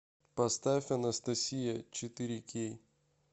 поставь анастасия четыре кей